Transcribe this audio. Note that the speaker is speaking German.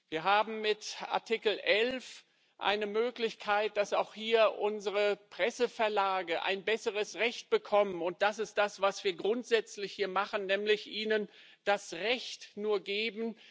Wir haben mit Artikel 11 eine Möglichkeit, dass auch unsere Presseverlage ein besseres Recht bekommen. Und das ist das, was wir hier grundsätzlich machen, nämlich ihnen nur das Recht geben.